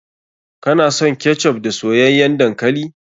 Kana son ketchup da soyayyan dankali?